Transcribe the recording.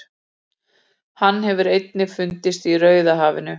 hann hefur einnig fundist í rauðahafinu